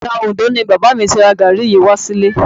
Ọjà Òndó ni bàbá mi ti ra gàárì yìí wá sílé